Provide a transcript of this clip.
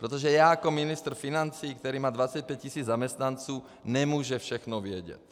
Protože já jako ministr financí, který má 25 tisíc zaměstnanců, nemůžu všechno vědět.